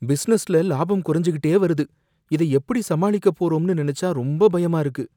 பிசினஸ்ல லாபம் குறைஞ்சுக்கிட்டே வருது, இதை எப்படி சமாளிக்கப் போறோம்னு நினைச்சா ரொம்ப பயமா இருக்கு.